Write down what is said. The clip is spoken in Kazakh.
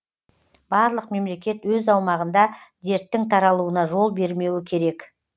барлық мемлекет өз аумағында дерттің таралуына жол бермеуі керек